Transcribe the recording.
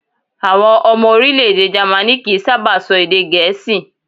Àwọn ọmọ orílẹ̀-èdè Jamaní kìí sábà sọ èdè Gẹ̀ẹ́sì